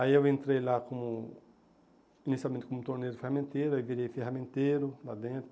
Aí eu entrei lá como inicialmente como torneiro e ferramenteiro, aí virei ferramenteiro lá dentro.